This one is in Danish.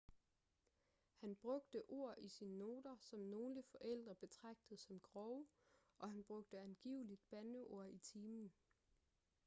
han brugte ord i sine noter som nogle forældre betragtede som grove og han brugte angiveligt bandeord i timen